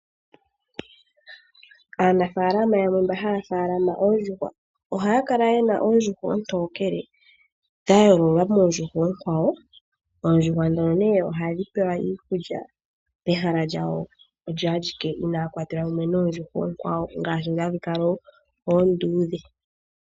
Aanafaalama yamwe mboka haya munu oondjuhwa, ohaya kala yena oondjuhwa oontokele dha yoololwa moondjuhwa oonkwawo, oondjuhwa ndhono nee ohadhi pewa iikulya pehala lyadho odho adhike, inaandhi kwatelwa mumwe noonkwawo ndhoka hadhi kala oonduudhe.